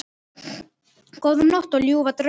Góða nótt og ljúfa drauma.